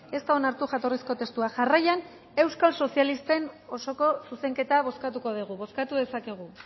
ez da onartu jatorrizko testua jarraian euskal sozialisten osoko zuzenketa bozkatuko dugu bozkatu dezakegu